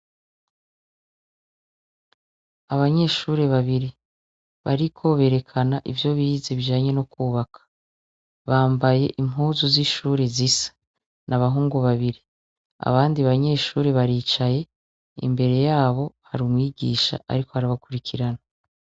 Abanyeshure babiri bariko berekana ivyo bize bijanye no kwubaka, bambaye impuzu zishuri zisa n’abahungu babiri, abandi banyeshure baricaye imbere yabo hari umwigisha ariko arabakurikirana.